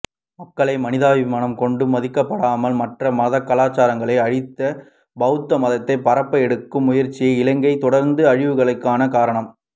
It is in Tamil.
மக்களை மனிதாபிமாம் கொண்டுமதிக்கப்படாமல் மற்றைய மதகலாச்சாரங்களை அழித்து பெளத்தமதத்தை பரப்பஎடுக்கும் முயற்ச்சியே இங்கையில் தொடர்ந்து அழிவுகளுக்கான காரணம்